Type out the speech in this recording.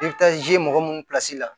I bɛ taa mɔgɔ minnu